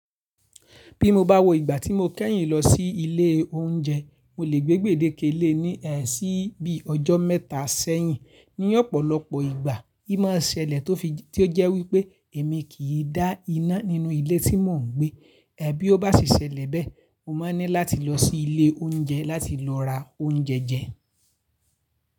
Bí mo bá wò ìgbà tí mo kẹ́yìn lọ sí ilé oúnjẹ, mo lè gbégbèdé ké le ní ẹ sì bí ọjọ́ mẹ́ta sẹ́yìn. Ní ọ̀pọ̀lọpọ̀ ìgbà, í máa ṣẹlẹ̀ tó fi tí ó jẹ́ wípé èmi kì í dá iná nínú ilé tí mò ń gbé. Ẹ̀ bí ọ́ bá sì ṣẹlẹ̀ bẹ́ẹ̀, mo máa ní láti lọ sí ilé oúnjẹ láti lọ ra oúnjẹ jẹ.